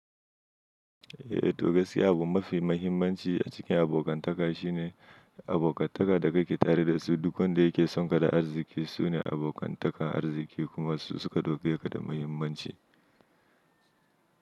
Eh to gaskiya abu mafi mahimmanci a cikin abokan taka shine abokan taka da kake tare da su. Duk wanda yake sonka da arziƙi sune abokan takar arziki kuma su suka ɗau keka da muhimmanci.